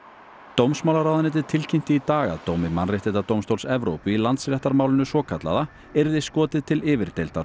dómsmálaráðuneytið tilkynnti í dag að dómi Mannréttindadómstóls Evrópu í Landsréttarmálinu svokallaða yrði skotið til